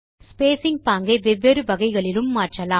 spacing பாங்கை வெவ்வேறு வகைகளிலும் மாற்றலாம்